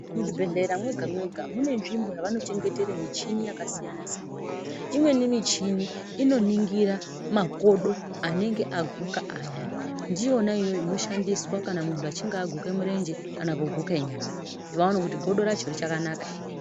Muzvibhedhlera mega mega mune nzvimbo yavanochengetera michini yakasiyana siyana, imweni michini inoningira makodo anenge aguka ayane .Ndiyona iyoyo inoshandiswa kana muntu achinge aguka murenje kana kuguka nyara kuti vaone kuti godo racho richakanaka ere .